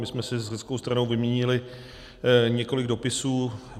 My jsme si s řeckou stranou vyměnili několik dopisů.